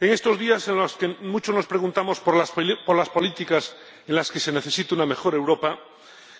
En estos días en los que muchos nos preguntamos por las políticas en las que se necesita una mejor Europa,